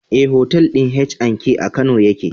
Eh, otal ɗin H&K a kano yake